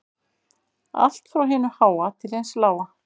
Allt frá hinu háa til hins lága